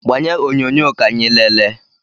Gbanye onyonyo ka anyị leele!